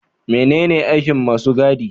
Menene aikin masu gadi?